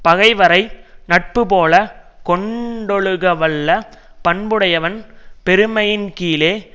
பகைவரை நட்புபோலக் கொண்டொழுகவல்ல பண்புடையவன் பெருமையின்கீழே